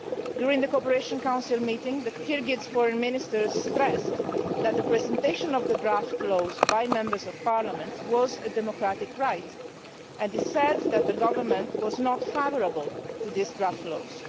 During the Cooperation Council meeting, the Kyrgyz Foreign Minister stressed that the presentation of the draft laws by members of parliament was a democratic right and asserted that the government was not favourable to these draft laws.